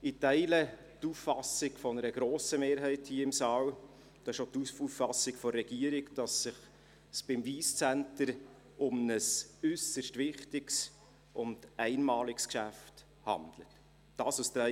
Ich teile die Auffassung einer grossen Mehrheit hier im Saal, wonach es sich beim Wyss Centre um ein äusserst wichtiges und einmaliges Geschäft handelt, und das ist auch die Auffassung der Regierung.